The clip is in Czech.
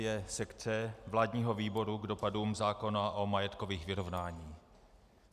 je sekce vládního výboru k dopadům zákona o majetkových vyrovnáních.